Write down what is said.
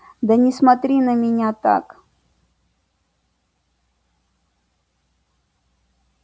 да не смотри на меня так